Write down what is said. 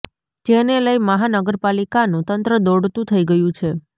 જેને લઈ મહાનગર પાલિકાનું તંત્ર દોડતું થઈ ગયું છે